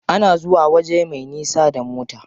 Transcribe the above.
Ana zuwa waje me nisa da mota.